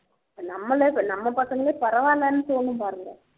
இப்போ நம்மளே நம்ம பசங்களே பரவாயில்லன்னு தோணும் பாருங்க